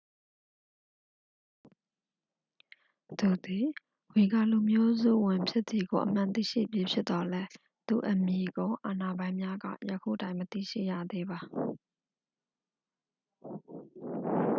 သူသည် ဝီဂါလူမျိုးစုဝင်ဖြစ်သည်ကို အမှန်သိရှိပြီးဖြစ်သော်လည်း သူ့အမည်ကို အာဏာပိုင်များက ယခုတိုင် မသိရှိရသေးပါ